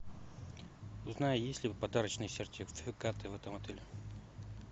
узнай есть ли подарочные сертификаты в этом отеле